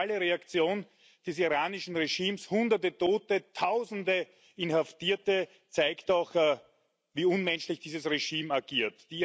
Die brutale Reaktion des iranischen Regimes hunderte Tote, tausende Inhaftierte zeigt doch, wie unmenschlich dieses Regime agiert.